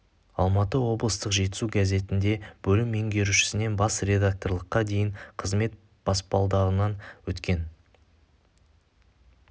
алматы облыстық жетісу газетінде бөлім меңгерушісінен бас редакторлыққа дейінгі қызмет баспалдағынан өткен